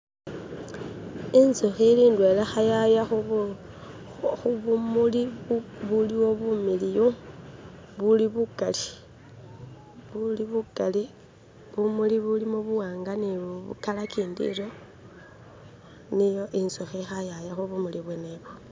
Inzukhi lindelah ili khukhwaya khubumuli bubuliwo bumiliyu buli bukhali buli bukhali bumuli bulimo buwanga ni kala gindi royo niyo inzuhi ilikhukwaya khubumuli bubwenebo